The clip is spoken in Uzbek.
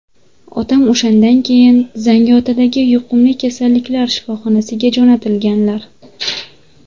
Otam o‘shandan keyin Zangiotadagi yuqumli kasalliklari shifoxonasiga jo‘natilganlar.